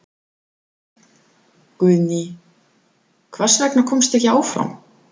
Guðný: Hvers vegna komstu ekki áfram?